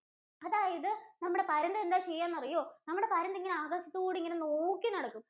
അതായത് നമ്മുടെ പരുന്ത് എന്താ ചെയ്യാന്നറിയോ? നമ്മുടെ പരുന്തിങ്ങനെ അകത്തൂടിങ്ങനെ നോക്കിനടക്കും.